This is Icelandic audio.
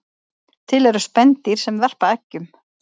Til eru spendýr sem verpa eggjum